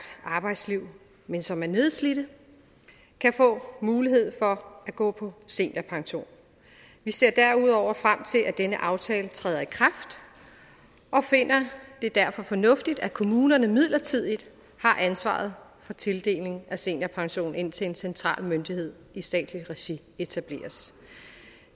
arbejdsliv men som er nedslidte kan få mulighed for at gå på seniorpension vi ser derudover frem til at denne aftale træder i kraft og finder det derfor fornuftigt at kommunerne midlertidigt har ansvaret for tildeling af seniorpension indtil en central myndighed i statsligt regi etableres